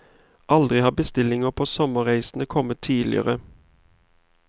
Aldri har bestillinger på sommerreisene kommet tidligere.